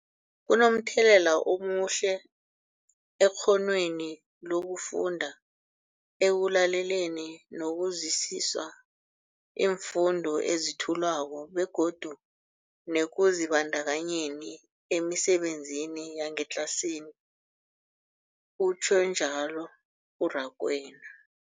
Kunomthelela omuhle ekghonweni lokufunda, ekulaleleni nokuzwisiswa iimfundo ezethulwako begodu nekuzibandakanyeni emisebenzini yangetlasini, utjhwe njalo u-Rakwena.